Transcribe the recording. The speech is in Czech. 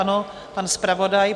Ano, pan zpravodaj.